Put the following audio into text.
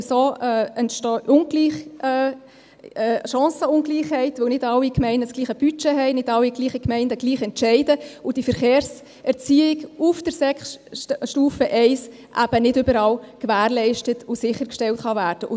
Denn so entstehen Chancenungleichheiten, weil nicht alle Gemeinden dasselbe Budget haben, nicht alle Gemeinden gleich entscheiden und die Verkehrserziehung auf Stufe Sek I eben nicht überall gewährleistet und sichergestellt werden kann.